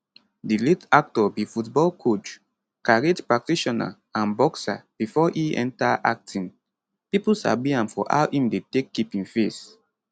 di late actor be football coach karate practitioner and boxer bifor e enta acting pipo sabi am for how im dey take keep im face